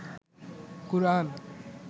কুরআন